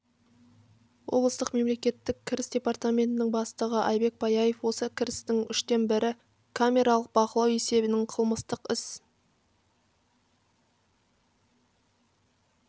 облыстық мемлекеттік кіріс департаментінің бастығы айбек паяев осы кірістің үштен бірі камералық бақылау есебінен қылмыстық іс